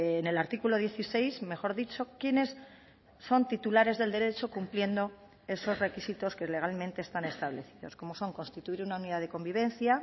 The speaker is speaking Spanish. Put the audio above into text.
en el artículo dieciséis mejor dicho quiénes son titulares del derecho cumpliendo esos requisitos que legalmente están establecidos como son constituir una unidad de convivencia